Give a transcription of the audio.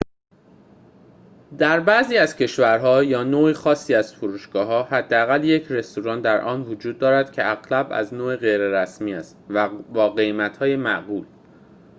در بعضی از کشورها یا نوع خاصی از فروشگاه‌ها حداقل یک رستوران در آن وجود دارد که اغلب از نوع غیر رسمی است و با قیمت‌های معقول